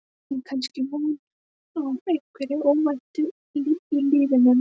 Við eigum kannski von á einhverju óvæntu í lífinu núna?